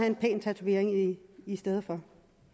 en pæn tatovering i stedet for